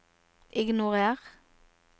ignorer